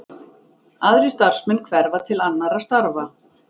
Aðrir starfsmenn hverfa til annarra starfa